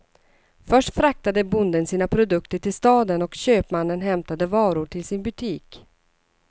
Först fraktade bonden sina produkter till staden och köpmannen hämtade varor till sin butik.